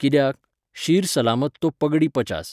कित्याक? शीर सलामत तो पगडी पचास.